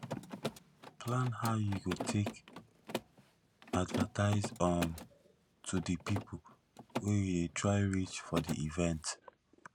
plan how you go take advertise um to di people wey you dey try reach for di event